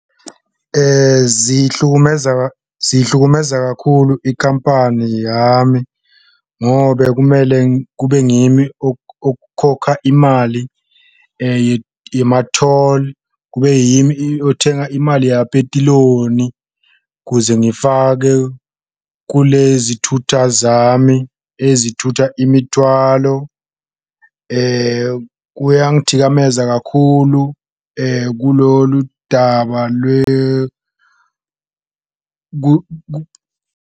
Ziyihlukumeza zihlukumezeka kakhulu ikhampani yami ngobe kumele kube ngimi okhokha imali yema-toll, kube yimi othenga imali yapetiloni kuze ngifake kulezi thutha zami ezithutha imithwalo. Kuyangithikameza kakhulu kulolu daba .